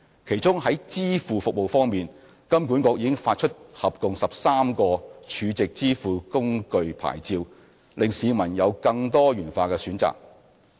其中在支付服務方面，金管局已發出合共13個儲值支付工具牌照，令市民有更多元化的選擇。